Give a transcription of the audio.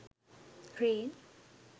rain